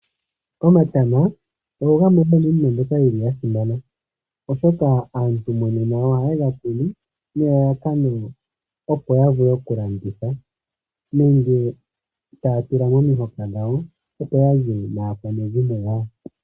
Omatama ogo gamwe gomiinima mbyoka yili ya simana, oshoka aantu monena ohaye ga kunu nelalakano opo ya vule okulanditha nenge taya tula momihoka dhawo opo ya lye naakwanezimo yawo.